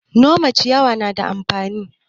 Nome ciyawa yana da amfani.